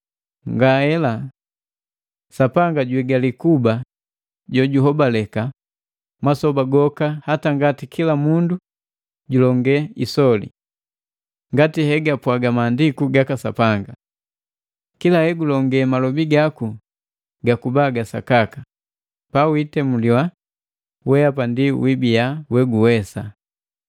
Ngaela! Sapanga juigali kuba jojuhobaleka masoba goka hata ngati kila mundu julonge isoli. Ngati hegapwaga Maandiku gaka Sapanga, “Kila hegulonge, malobi gaku gakubaa ga sakaka, pa witemuliwa, wehapa ndi wibia we guwesa.”